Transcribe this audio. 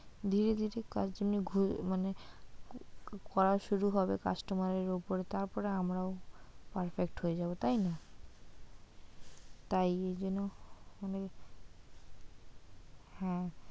দিয়ে যদি কাজ নিয়ে, মানে করা শুরু হবে customer এর ওপর তারপর আমরাও perfect হয়ে যাবো তাইনা? তাই এইজন্য মানে হ্যাঁ।